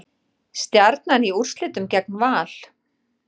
Stjarnan í úrslitin gegn Val